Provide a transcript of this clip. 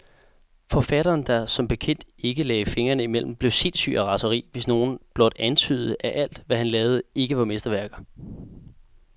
Forfatteren, der som bekendt ikke lagde fingrene imellem, blev sindssyg af raseri, hvis nogen blot antydede, at alt, hvad han lavede, ikke var mesterværker.